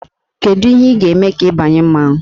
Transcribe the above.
Kedu ihe ị ga-eme ka ị banye mmanwụ?